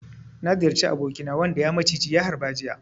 Na ziyarci abokina wanda ya maciji ya harba jiya.